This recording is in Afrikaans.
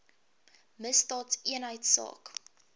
misdaadeenheidsaak